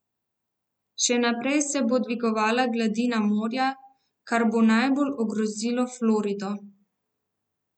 Še naprej se bo dvigovala gladina morja, kar bo najbolj ogrozilo Florido.